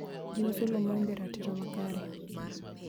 ji uso lowo maonge ratiro makare